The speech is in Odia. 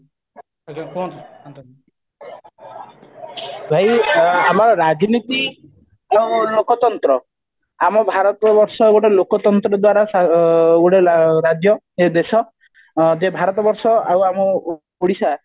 ଭାଇ ଆମର ରାଜନୀତି ଯୋଉ ଲୋକତନ୍ତ୍ର ଆମ ଭାରତବର୍ଷ ଗୋଟେ ଲୋକତନ୍ତ୍ର ଦ୍ଵାରା ଆଁ ଗୋଟେ ରାଜ୍ୟ ଏ ଦେଶ ଆମ ଯେ ଭାରତବର୍ଷ ଆଉ ଆମ ଦେଶ